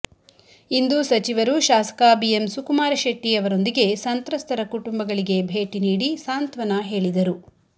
ಇಂದು ಸಚಿವರು ಶಾಸಕ B M Sukumar Shetty ಅವರೊಂದಿಗೆ ಸಂತ್ರಸ್ತರ ಕುಟುಂಬಗಳಿಗೆ ಭೇಟಿ ನೀಡಿ ಸಾಂತ್ವನ ಹೇಳಿದರು